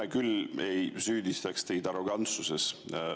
Mina küll ei süüdista teid arrogantsuses.